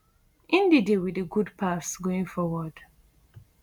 ndidi wit di good pass going forward